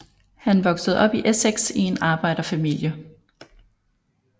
Han voksede op i Essex i en arbejderfamilie